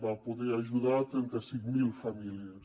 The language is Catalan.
va poder ajudar trenta cinc mil famílies